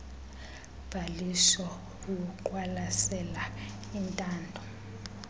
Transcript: bhaliso luqwalasela intando